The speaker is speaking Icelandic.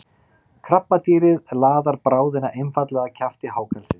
krabbadýrið laðar bráðina einfaldlega að kjafti hákarlsins